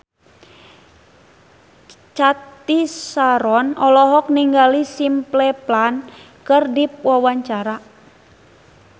Cathy Sharon olohok ningali Simple Plan keur diwawancara